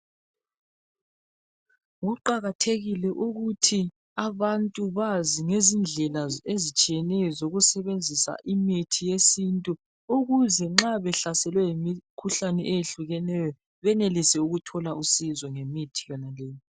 Kuqakathekile ukuthi abantu bazi ngezindlela ezitshiyeneyo zokusebenzisa imithi yesintu ukuze nxa behlaselwe yimikhuhlane eyehlukeneyo benelise ukuthola usizo ngemithi yona leyo.